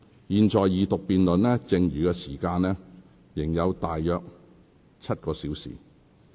現在二讀辯論剩餘的時間仍有大約7個小時。